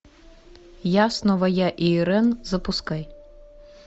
я снова я и ирэн запускай